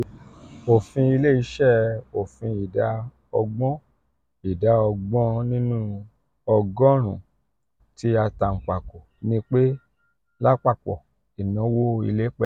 ofin ile-iṣẹ ofin ida ọgbọn ida ọgbọn ninu ogorun-un ti atanpako ni pe lapapọ inawo ile pẹlu